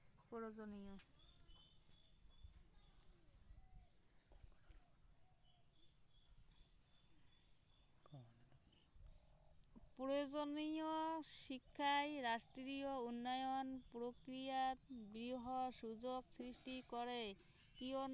প্ৰয়োজনীয় শিক্ষাই ৰাষ্ট্ৰীয় উন্নয়ন প্ৰক্ৰিয়াত বৃহৎ সুযোগ সৃষ্টি কৰে, কিয়নো